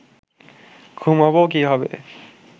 ঘুমাব কীভাবে